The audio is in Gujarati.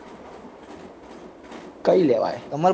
કઈ લેવાય?